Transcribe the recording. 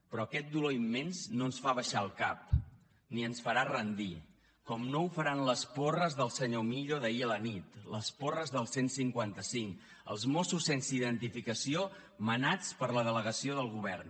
però aquest dolor immens no ens fa abaixar el cap ni ens farà rendir com no ho faran les porres del senyor millo d’ahir a la nit les porres del cent i cinquanta cinc els mossos sense identificació manats per la delegació del govern